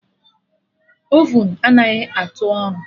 Ovun anaghị atụ ọrụ